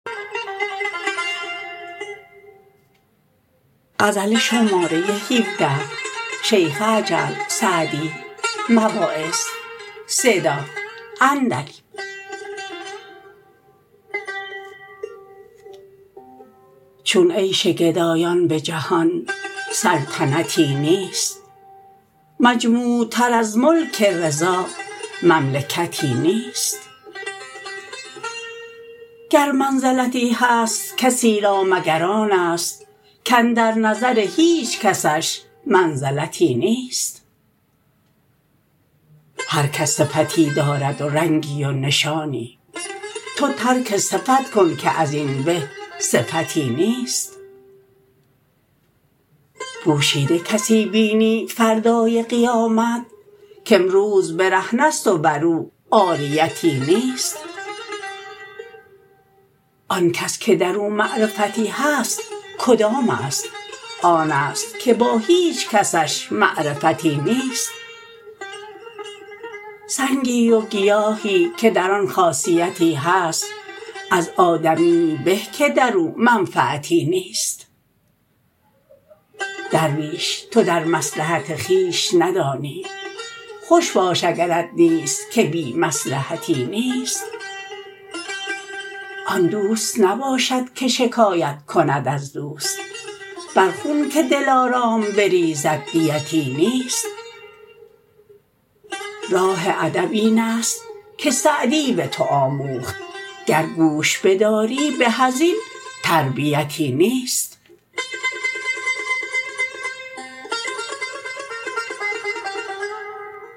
چون عیش گدایان به جهان سلطنتی نیست مجموع تر از ملک رضا مملکتی نیست گر منزلتی هست کسی را مگر آن است کاندر نظر هیچ کسش منزلتی نیست هر کس صفتی دارد و رنگی و نشانی تو ترک صفت کن که از این به صفتی نیست پوشیده کسی بینی فردای قیامت کامروز برهنه ست و بر او عاریتی نیست آن کس که در او معرفتی هست کدام است آن است که با هیچ کسش معرفتی نیست سنگی و گیاهی که در آن خاصیتی هست از آدمیی به که در او منفعتی نیست درویش تو در مصلحت خویش ندانی خوش باش اگرت نیست که بی مصلحتی نیست آن دوست نباشد که شکایت کند از دوست بر خون که دلارام بریزد دیتی نیست راه ادب این است که سعدی به تو آموخت گر گوش بداری به از این تربیتی نیست